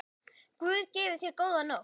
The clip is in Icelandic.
Guð gefi þér góða nótt.